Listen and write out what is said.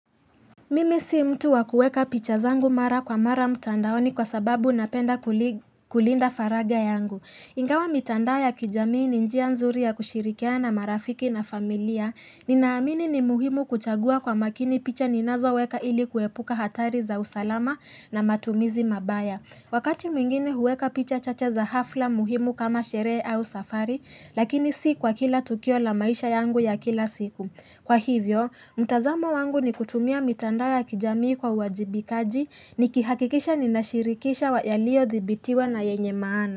Mimi si mtu wa kueka picha zangu mara kwa mara mtandaoni kwa sababu napenda kulinda faragha yangu. Ingawa mitandao ya kijamii ni njia nzuri ya kushirikiana na marafiki na familia. Ninaamini ni muhimu kuchagua kwa makini picha ninazoweka ili kuepuka hatari za usalama na matumizi mabaya. Wakati mwingine huweka picha chache za hafla muhimu kama sherehe au safari, lakini si kwa kila tukio la maisha yangu ya kila siku. Kwa hivyo, mtazamo wangu ni kutumia mitandao ya kijamii kwa uwajibikaji nikihakikisha ninashirikisha wa yaliyothibitiwa na yenye maana.